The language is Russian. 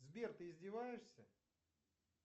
сбер ты издеваешься